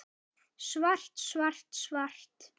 Svart, svart, svart.